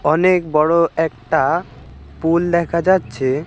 অনেক বড়ো একটা পুল দেখা যাচ্ছে।